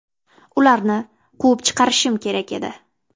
Ularni quvib chiqarishim kerak edi.